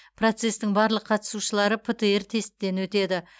процестің барлық қатысушылары птр тестіден өтеді